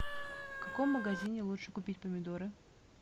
в каком магазине лучше купить помидоры